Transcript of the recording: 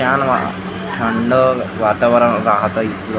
छान थंड वातावरण राहतं इथलं.